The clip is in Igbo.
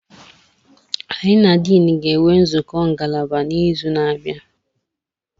Anyị na Dean ga-enwe nzukọ ngalaba n'izu na-abịa.